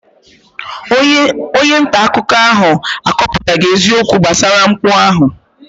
Onye nta akụkọ ahụ akọpụtaghị eziokwu gbasara mpụ ahụ.